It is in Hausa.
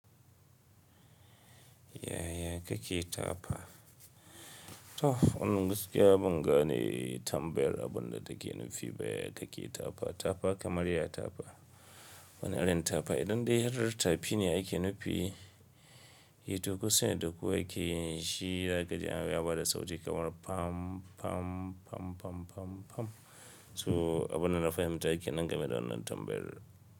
Yaya kake ta fa? To wannan gaskiya bangane tambayar abunda take nufi baya kaki ta fa, ta fa kamar yaya ta fa? Wani irin ta fa idan dai har ta fi ne ake nufi, yi tuku sai duku yake shi zagaye an yi bada sauti kamar fam fam fam fam fam fam. So abunda na fahimta kenan game da wannan tambayar.